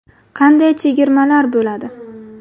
Qanday chegirmalar bo‘ladi?